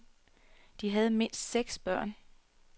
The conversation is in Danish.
De havde mindst seks børn.